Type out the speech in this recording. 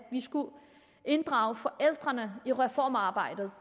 inddrage forældrene i reformarbejdet